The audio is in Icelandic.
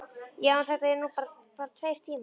Já, en þetta eru nú bara tveir tímar.